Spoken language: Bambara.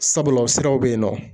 Sabula ,o siraw be yen nɔ.